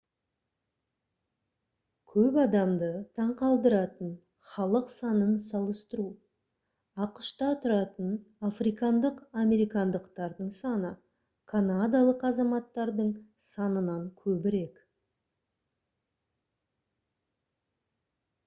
көп адамды таң қалдыратын халық санын салыстыру ақш-та тұратын африкандық американдықтардың саны канадалық азаматтардың санынан көбірек